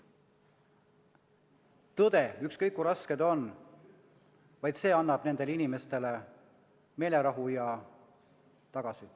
Vaid tõde – ükskõik kui raske see on – annab nendele inimestele meelerahu tagasi.